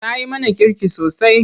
Ta yi mana kirki sosai.